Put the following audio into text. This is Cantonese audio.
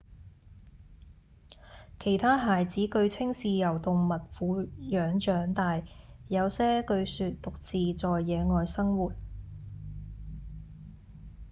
其他孩子據稱是由動物撫養長大；有些據說獨自在野外生活